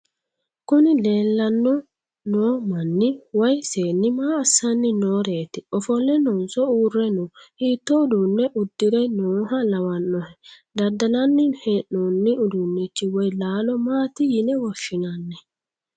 kuni leellanni no manni woy seenni maa assanni nooreeti? ofolle noonso uurre no?hiitto uduunne uddire nooha lawannohe? daddallanni hee'noonni uduunnichi woy laalo mati yine woshshinanni?